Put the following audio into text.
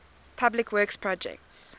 public works projects